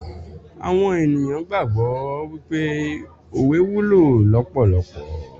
Awon eniyan gbagbo wipe owe wulo lopolopo